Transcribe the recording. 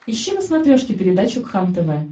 ищи на смотрешке передачу кхлм тв